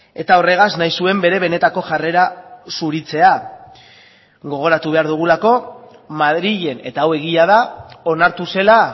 eta horregaz nahi zuen bere benetako jarrera zuritzea gogoratu behar dugulako madrilen eta hau egia da onartu zela